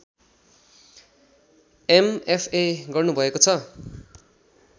MFA गर्नुभएको छ